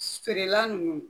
Feere la nunnu